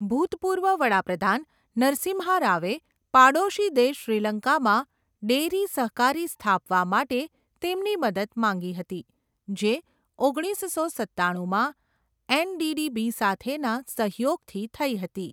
ભૂતપૂર્વ વડા પ્રધાન નરસિમ્હા રાવે પાડોશી દેશ શ્રીલંકામાં ડેરી સહકારી સ્થાપવા માટે તેમની મદદ માંગી હતી જે ઓગણીસસો સત્તાણુમાં એનડીડીબી સાથેના સહયોગથી થઈ હતી.